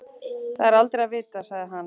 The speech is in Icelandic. Það er aldrei að vita sagði hann.